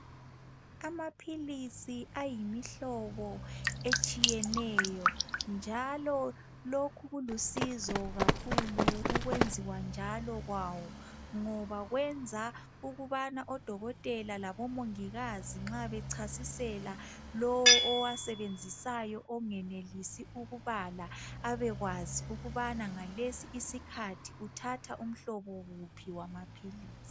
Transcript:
Amaphilisi ayimihlobo etshiyeneyo njalo lokhu kulusizo kakhulu ukwenziwa njalo kwawo ngoba kwenza omongilazi labo dokotela nxa bechasisela lowo owusebenzisayo ongenelisi ukubala abekwazi ukubana ngalesi isikhathi uthatha umhloba wuphi wamaphilisi